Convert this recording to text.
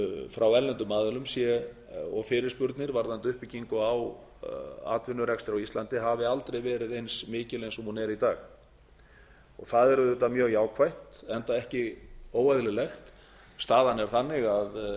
frá erlendum aðilum og fyrirspurnir varðandi uppbyggingu á atvinnurekstri á íslandi hafi aldrei gerð eins mikil og hún er í dag og það er auðvitað mjög jákvætt enda ekki óeðlilegt staðan er þannig að það